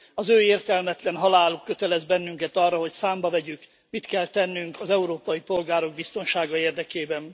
Az ő értelmetlen haláluk kötelez bennünket arra, hogy számba vegyük, mit kell tennünk az európai polgárok biztonsága érdekében.